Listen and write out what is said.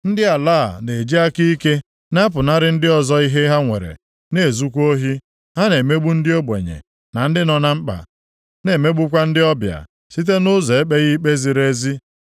Ndị ala a na-eji aka ike na-apụnara ndị ọzọ ihe ha nwere na-ezukwa ohi. Ha na-emegbu ndị ogbenye na ndị nọ na mkpa, na-emegbukwa ndị ọbịa site nʼụzọ ekpeghị ikpe ziri ezi.